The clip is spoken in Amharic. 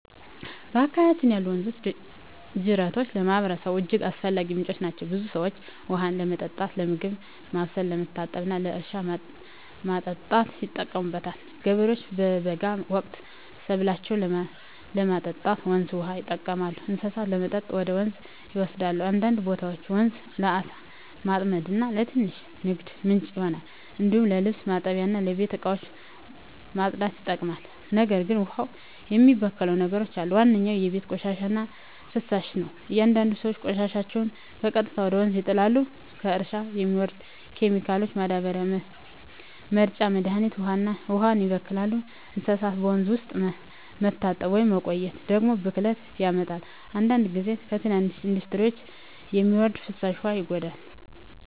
በአካባቢያችን ያሉ ወንዞችና ጅረቶች ለማህበረሰቡ እጅግ አስፈላጊ ምንጮች ናቸው። ብዙ ሰዎች ውሃውን ለመጠጥ፣ ለምግብ ማብሰል፣ ለመታጠብ እና ለእርሻ ማጠጣት ይጠቀሙበታል። ገበሬዎች በበጋ ወቅት ሰብላቸውን ለማጠጣት ወንዝ ውሃ ይጠቀማሉ፣ እንስሳትም ለመጠጥ ወደ ወንዝ ይወሰዳሉ። አንዳንድ ቦታዎች ወንዙ ለዓሣ ማጥመድ እና ለትንሽ ንግድ ምንጭ ይሆናል። እንዲሁም ለልብስ ማጠብ እና ለቤት እቃ ማጽዳት ይጠቅማል። ነገር ግን ውሃውን የሚበክሉ ነገሮች አሉ። ዋነኛው የቤት ቆሻሻ እና ፍሳሽ ነው፤ አንዳንድ ሰዎች ቆሻሻቸውን በቀጥታ ወደ ወንዝ ይጣላሉ። ከእርሻ የሚወርድ ኬሚካል ማዳበሪያ እና መርጫ መድሀኒትም ውሃውን ያበክላሉ። እንስሳት በወንዝ ውስጥ መታጠብ ወይም መቆየት ደግሞ ብክለት ያመጣል። አንዳንድ ጊዜ ከትንሽ ኢንዱስትሪዎች የሚወርድ ፍሳሽ ውሃ ይጎዳል።